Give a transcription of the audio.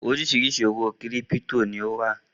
Oríṣiríṣi owó kírípító ni ó wà.